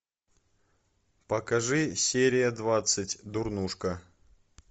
покажи серия двадцать дурнушка